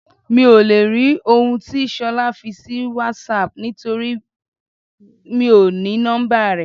Mi ò lè rí òun tí Ṣolá fi sì WhatsApp nítorí mi ò ní nọ́mbà rẹ̀.